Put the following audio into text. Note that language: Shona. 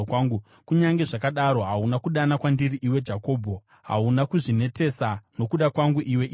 “Kunyange zvakadaro hauna kudana kwandiri, iwe Jakobho; hauna kuzvinetesa nokuda kwangu, iwe Israeri.